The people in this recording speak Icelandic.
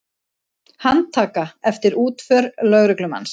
Handtaka eftir útför lögreglumanns